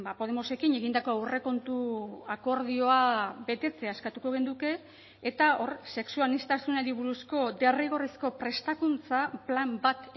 podemosekin egindako aurrekontu akordioa betetzea eskatuko genuke eta hor sexu aniztasunari buruzko derrigorrezko prestakuntza plan bat